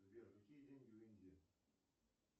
сбер какие деньги в индии